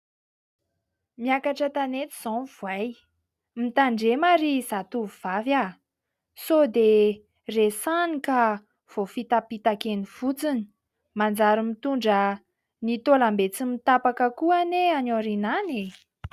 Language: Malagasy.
Miakatra an-tanety izao ny voay. Mitandremo ry zatovovavy sao dia resahany ka voafitapitaka eny fotsiny manjary mitondra ny taolam-be tsy mitapaka ko anie any ao aoriana any e !